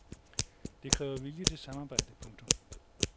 Det kræver vilje til samarbejde. punktum